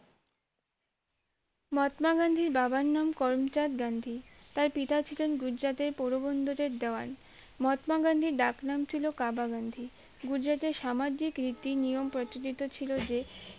মহাত্মা গান্ধীর বাবার নাম করমচাঁদ গান্ধী তার পিতা ছিলেন গুজরাটের পৌরবন্দরের দেওয়ান মহাত্মা গান্ধীর ডাকনাম ছিল কাবা গান্ধী গুজরাটের সামাজিক রীতি নিয়ম প্রচলিত ছিল যে